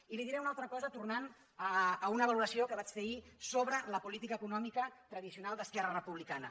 i li diré una altra cosa tornant a una valoració que vaig fer ahir sobre la política econòmica tradicional d’esquerra republicana